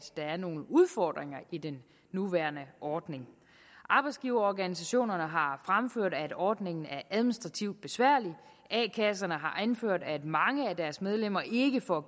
der er nogle udfordringer i den nuværende ordning arbejdsgiverorganisationerne har fremført at ordningen er administrativt besværlig og a kasserne har anført at mange af deres medlemmer ikke får